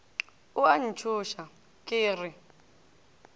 o a ntšhoša ke re